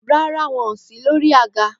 Ràrá, won òsí lòrí àgá.